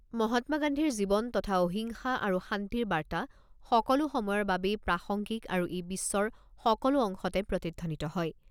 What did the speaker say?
মহাত্মা গান্ধীৰ জীৱন তথা অহিংসা আৰু শান্তিৰ বাৰ্তা সকলো সময়ৰ বাবেই প্ৰাসঙ্গিক আৰু ই বিশ্বৰ সকলো অংশতে প্ৰতিধ্বনিত হয়।